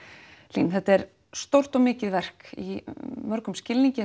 Hlín þetta er stórt og mikið verk í mörgum skilningi